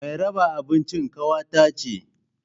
Mai raba abincin kawata ce